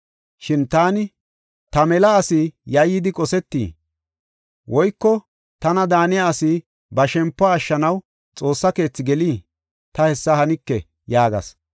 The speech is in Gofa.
Shin taani, “Ta mela asi yayyidi qosetii? Woyko tana daaniya asi ba shempuwa ashshanaw Xoossa keethi gelii? Ta hessa hanike” yaagas.